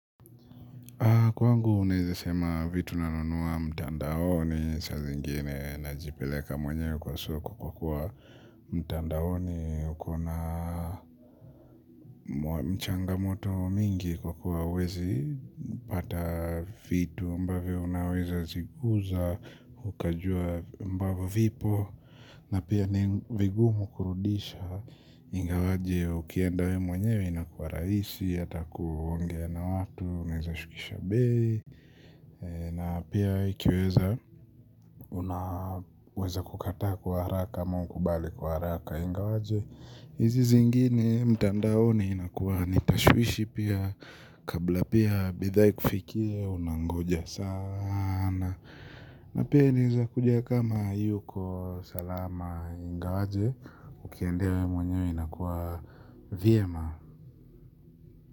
Kwangu unaeza sema vitu nanunua mtandaoni saa zingine najipeleka mwenyewe kwa soko kwa kuwa mtandaoni. Ukona changamoto mingi kwa kuwa huwezi pata vitu ambavyo unaweza zikuza. Ukajua ambavyo vipo na pia ni vigumu kurudisha ingawaje ukienda wewe mwenyewe inakua rahisi hata kuongea na watu unaeza shukisha bei. Na pia ikiweza unaweza kukataa kwa haraka kama ukubali kwa haraka ingawaje hizi zingine mtandaoni inakuwa ni tashwishi pia kabla pia bidhaa ikufikie unangoja sana. Na pia inaeza kuja kama haiyuko salama ingawaje ukiendea wewe mwenyewe inakuwa vyema.